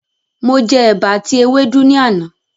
Mo jẹ ẹ̀bà àti ewédú ni àná.